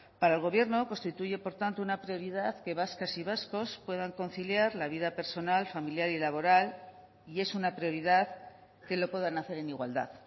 para el gobierno constituye por tanto una prioridad que vascas y vascos puedan conciliar la vida personal familiar y laboral y es una prioridad que lo puedan hacer en igualdad